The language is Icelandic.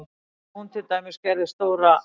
Þegar hún til dæmis gerði stóra